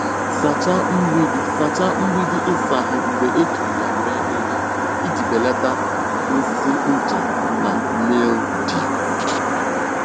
Sachaa mgbidi Sachaa mgbidi ịsa ahụ mgbe ejiri ya mee ihe iji belata nsị ncha na mildew.